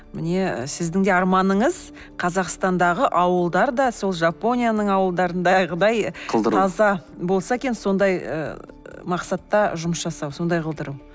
міне і сіздің де арманыңыз қазақстандағы ауылдар да сол жапонияның ауылдарындағыдай қылдыру таза болса екен сондай ы мақсатта жұмыс жасау сондай қылдыру